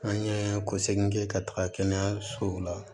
An ye ko segin kɛ ka taga kɛnɛyasow la